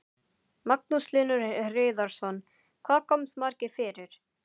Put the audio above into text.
Magnús Hlynur Hreiðarsson: Hvað komast margir fyrir?